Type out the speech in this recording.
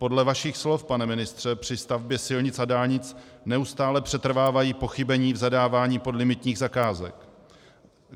Podle vašich slov, pane ministře, při stavbě silnic a dálnic neustále přetrvávají pochybení v zadávání podlimitních zakázek.